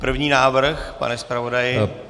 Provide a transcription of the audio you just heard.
První návrh, pane zpravodaji?